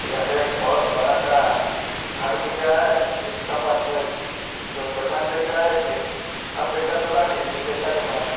यहां पे बहुत बड़ा सा एक घर दिख रहा है उसके पास म दो दुकान दिख रहा है एक कपड़े का दुकान एक जुते का दुकान ।